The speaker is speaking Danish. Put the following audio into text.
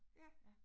Ja